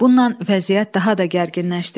Bundan vəziyyət daha da gərginləşdi.